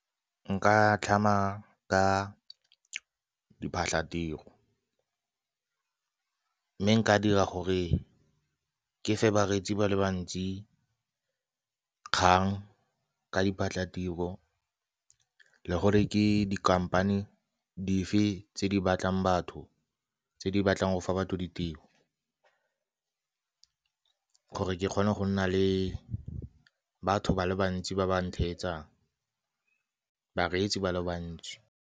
Nka tlhama ka diphatlatiro, mme nka dira gore ke fa bareetsi ba le bantsi kgang ka diphatlatiro le gore ke dikhamphane dife tse di batlang batho tse di batlang go fa batho ditiro, gore ke kgone go nna le batho ba le bantsi ba ba nthetsang bareetsi ba le bantsi.